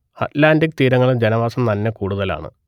Atlantic തീരങ്ങളിൽ ജനവാസം നന്നെ കൂടുതലാണ്